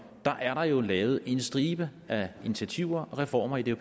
der er jo lavet en stribe af initiativer og reformer i det